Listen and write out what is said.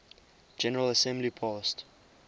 general assembly passed